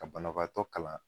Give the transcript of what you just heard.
Ka banabaatɔ kalan